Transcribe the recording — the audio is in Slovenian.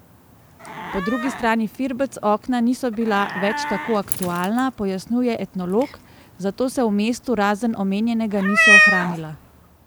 Po drugi strani firbec okna niso bila več tako aktualna, pojasnjuje etnolog, zato se v mestu, razen omenjenega, niso ohranila.